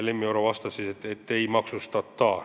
Lemmi Oro vastas, et ei maksustata.